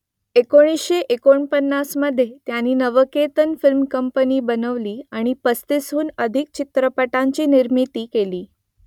एकोणीसशे एकोणपन्नासमधे त्यांनी नवकेतन फिल्म कंपनी बनवली आणि पस्तीसहून अधिक चित्रपटांची निर्मिती केली